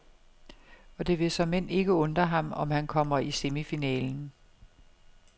Og det vil såmænd ikke undre ham, om han kommer i semifinalen.